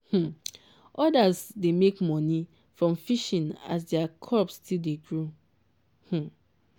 um others dey make money from fishing as their crops still dey grow. um